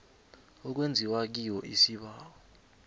okwenziwa kiyo isibawo